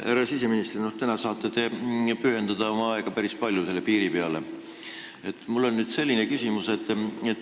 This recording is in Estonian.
Härra siseminister, täna te saate päris palju oma aega piirile pühendada.